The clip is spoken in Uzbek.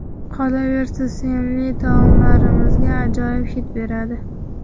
Qolaversa, sevimli taomlarimizga ajoyib hid beradi.